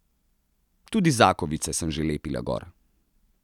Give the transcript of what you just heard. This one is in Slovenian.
Tudi zakovice sem že lepila gor.